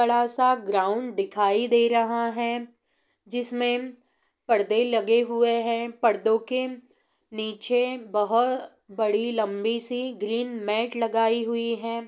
बड़ा सा ग्राउन्ड दिखाई दे रहा है जिसमें परदे लगे हुए हैं पर्दो के नीचे बोहो बड़ी लंबी सी ग्रीन मॅट लगाई हुई है ।